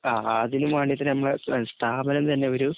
അതിനും വേണ്ടിട്ടു ഞമ്മള് സ്ഥാപനം തന്നെ ഒരു